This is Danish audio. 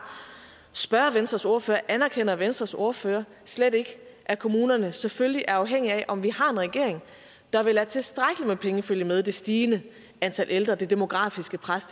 spørge venstres ordfører anerkender venstres ordfører slet ikke at kommunerne selvfølgelig er afhængige af om vi har en regering der vil lade tilstrækkeligt med penge følge med det stigende antal ældre det demografiske pres